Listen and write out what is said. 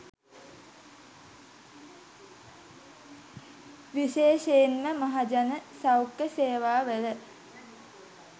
විශේෂයෙන්ම මහජන සෞඛ්‍ය සේවාවල